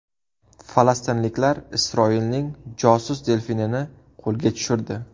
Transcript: Falastinliklar Isroilning josus delfinini qo‘lga tushirdi.